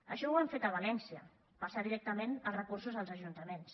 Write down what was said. això ho han fet a valència passar directament els recursos als ajuntaments